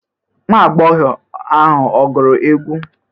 Nwa agbọghọ ahụ ọ gụrụ egwu?